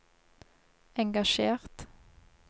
engasjert